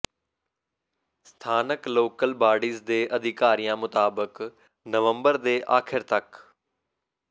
ਸਥਾਨਕ local bodies ਦੇ ਅਧਿਕਾਰੀਆਂ ਮੁਤਾਬਕ ਨਵੰਬਰ ਦੇ ਆਖਿਰ ਤੱਕ